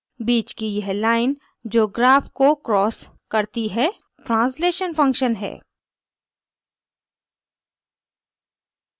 बीच की यह line जो graph को crosses करती है translation function है